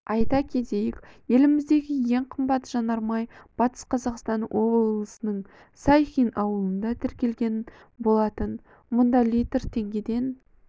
айта кетейік еліміздегі ең қымбат жанармай батыс қазақстан облысының сайхин ауылында тіркелген болатын мұнда литр теңгеден